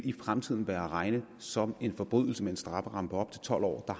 i fremtiden være at regne som en forbrydelse med en strafferamme på op til tolv år og